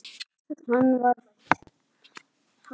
Hann á fínan kíki, hann tengdapabbi þinn.